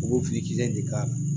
U b'o fili de k'a la